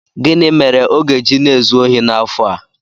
Gịnị mere ọ ga-eji na-ezu ohi n'afọ a?